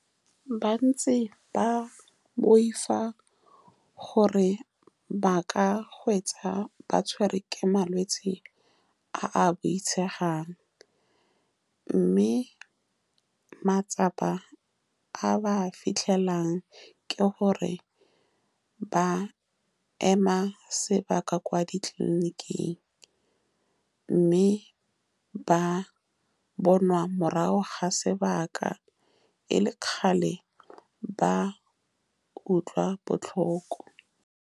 Bantsi ba boifa gore ba ka hwetša ba tshwerwe ke malwetsi a a boitshegang, mme matsapa a ba a fitlhelang ke gore ba ema sebaka kwa ditleliniking, mme ba bonwa morago ga sebaka, e le kgale ba utlwa botlhoko.